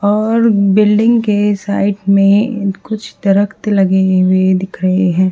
और बिल्डिंग के साइड में कुछ तरकत लगे हुए दिख रहे हैं।